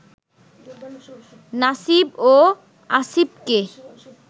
নাসিব ও আসিবকে